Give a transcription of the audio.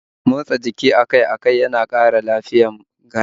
Motsa jiki akai-akai yana kara lafiyar kashi